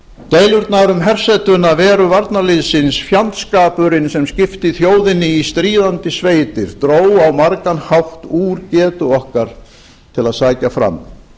deilurnar um hersetuna veru varnarliðsins fjandskapurinn sem skipti þjóðinni í stríðandi sveitir dró á margan hátt úr getu okkar til að sækja fram